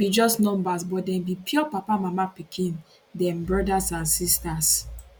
be just numbers but dem be pio papa mama pikin dem brothers and sisters